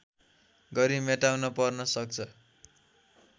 गरी मेटाउन पर्न सक्छ